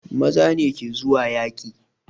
Maza ne ke zuwa yaƙi